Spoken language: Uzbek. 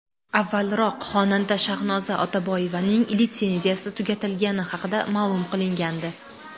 Avvalroq, xonanda Shahnoza Otaboyevaning litsenziyasi tugatilgani haqida ma’lum qilingandi .